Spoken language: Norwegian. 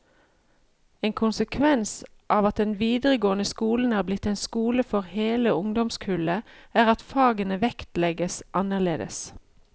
En konsekvens av at den videregående skolen er blitt en skole for hele ungdomskullet, er at fagene vektlegges annerledes.